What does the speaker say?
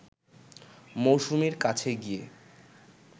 মৌসুমীর কাছে গিয়ে